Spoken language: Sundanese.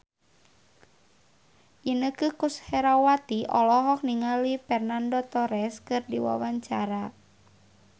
Inneke Koesherawati olohok ningali Fernando Torres keur diwawancara